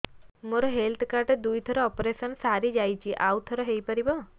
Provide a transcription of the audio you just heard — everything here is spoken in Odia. ମୋର ହେଲ୍ଥ କାର୍ଡ ରେ ଦୁଇ ଥର ଅପେରସନ ସାରି ଯାଇଛି ଆଉ ଥର ହେଇପାରିବ